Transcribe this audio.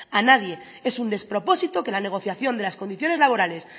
a nadie es un despropósito que la negociación de las condiciones laborales